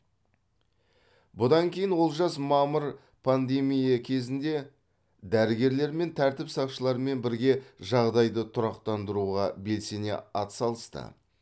бұдан кейін олжас мамыр пандемия кезінде дәрігерлермен тәртіп сақшыларымен бірге жағдайды тұрақтандыруға белсене атсалысты